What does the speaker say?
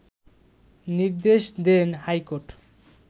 নির্দেশ দেন হাইকোর্ট